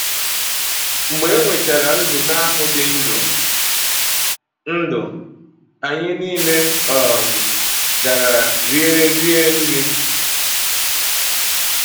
Mgbe e nwechara nzukọ ahụ dị ndụ, anyị nile um gara rie rie nri.